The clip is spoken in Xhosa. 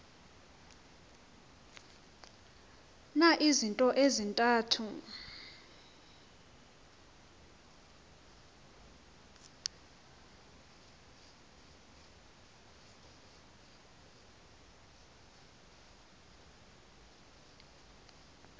na izinto ezintathu